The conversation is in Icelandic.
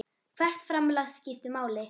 Hvert framlag skiptir máli.